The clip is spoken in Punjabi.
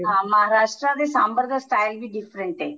ਹਾਂ Maharashtra ਦੇ ਸਾਂਬਰ ਦਾ style ਵੀ different ਏ